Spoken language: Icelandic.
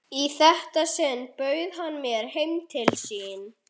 Í þetta sinn bauð hann mér heim til sín.